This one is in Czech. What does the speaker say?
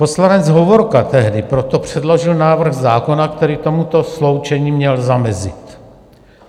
Poslanec Hovorka tehdy proto předložil návrh zákona, který tomuto sloučení měl zamezit.